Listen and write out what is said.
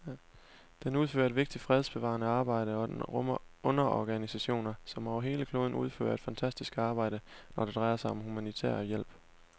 Den udfører et vigtigt fredsbevarende arbejde, og den rummer underorganisationer, som over hele kloden udfører et fantastisk arbejde, når det drejer sig om humanitær hjælp.